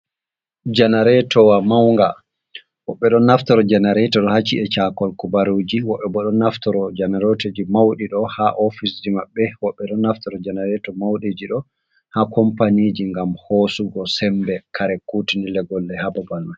Janaretowa maunga. Woɓɓe ɗo naftoro janareto ɗo ha ci'e caakol habaruji. Woɓɓe bo ɗo naftoro janareto ji mauɗi ɗo ha ofis ji maɓɓe. Woɓɓe bo ɗo naftoro janareto mauɗe ji ɗo ha kompanije ngam hosugo sembe kare kutinirɗe gonɗe ha babal mai.